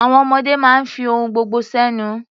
Àwọn ọmọdé máa ń fi ohun gbogbo sẹ́nu.